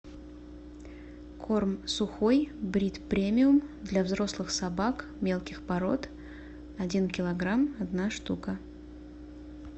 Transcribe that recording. корм сухой брит премиум для взрослых собак мелких пород один килограмм одна штука